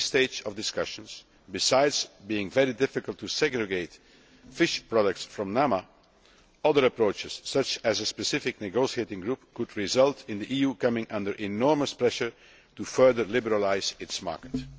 At this stage of the discussions, besides being very difficult to segregate fish products from NAMA, other approaches such as a specific negotiating group could result in the EU coming under enormous pressure to further liberalise its market.